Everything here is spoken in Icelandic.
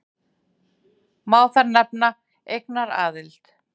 Má þar nefna eignaraðild.